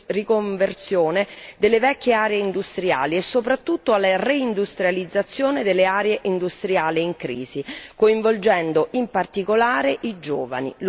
riconversione delle vecchie aree industriali e soprattutto alla reindustrializzazione delle aree industriali in crisi, coinvolgendo in particolare i giovani.